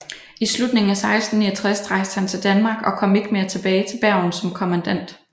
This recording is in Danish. I slutningen af 1669 rejste han til Danmark og kom ikke mere tilbage til Bergen som kommandant